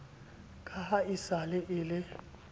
ka e se e le